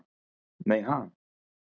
Nei ha?